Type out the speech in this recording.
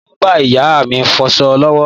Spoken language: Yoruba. Mo ń bá ìyá mi fọsọ lọ́wọ́.